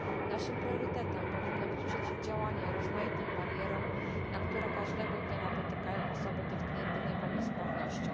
Naszym priorytetem powinno być przeciwdziałanie rozmaitym barierom, które każdego dnia napotykają osoby dotknięte niepełnosprawnością.